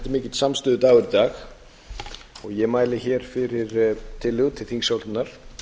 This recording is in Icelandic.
mikill samstöðudagur í dag ég mæli hér fyrir tillögu til þingsályktunar